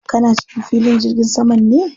Kana cikin filin jirgin saman ne?